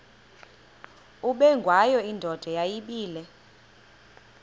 ubengwayo indoda yayibile